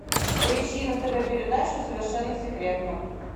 поищи на тв передачу совершенно секретно